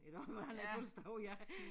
Iggå for han havde fødselsdag ja